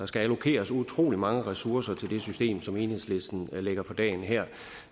skal allokeres utrolig mange ressourcer til det system som enhedslisten lægger for dagen her